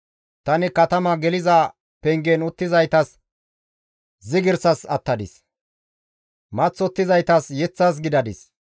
Tani katama geliza pengen uttizaytas zigirsas attadis; maththottizaytas yeththas gidadis.